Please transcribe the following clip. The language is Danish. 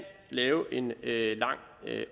lave en lang